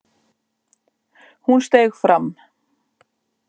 Hún steig fram.